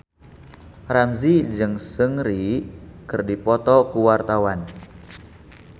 Ramzy jeung Seungri keur dipoto ku wartawan